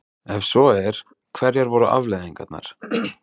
Ef svo er, hverjar voru afleiðingarnar?